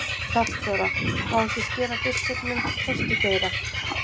Hnallþóra: Má ekki skera biskupnum tertugeira?